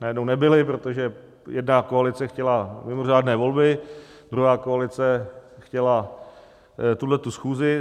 Najednou nebyly, protože jedna koalice chtěla mimořádné volby, druhá koalice chtěla tuhletu schůzi.